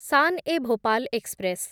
Shan e Bhopal express